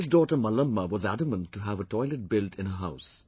This daughter Mallamma was adamant to have a toilet built in her house